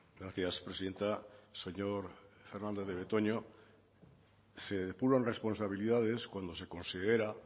gracias presidenta señor fernandez de betoño se depuran responsabilidades cuando se considera